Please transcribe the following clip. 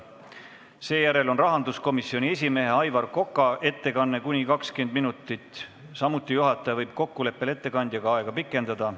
Seejärel on rahanduskomisjoni esimehe Aivar Koka ettekanne kuni 20 minutit, taas võib juhataja kokkuleppel ettekandjaga seda aega pikendada.